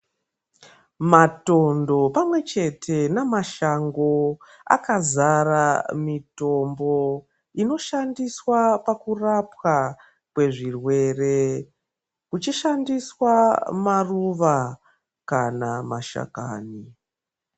Matondo pamwe chete namashango akazare mitombo inoshandiswa pakurape kwezvirwere kuchishandiswa maruva kana mashakani.